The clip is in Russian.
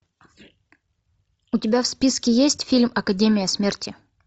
у тебя в списке есть фильм академия смерти